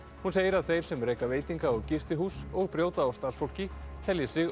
hún segir að þeir sem reka veitinga og gistihús og brjóta á starfsfólki telji sig